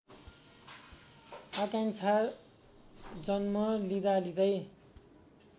आकाङ्क्षा जन्म लिँदालिँदै